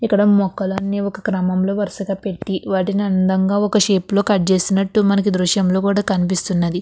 ఇక్కడ మొక్కలు అన్నీ ఒక క్రమంలో వరుసగా పెట్టి వాడిని అందంగా ఒక షేపు లో కట్ చేసినట్టు మనకి దృశ్యం లో కూడా కనిపిస్తున్నది.